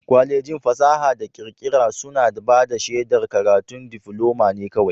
Kwalejin fasaha da kirkira suna bada shedar karatun difuloma ne kawai.